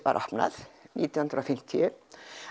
var opnað nítján hundruð og fimmtíu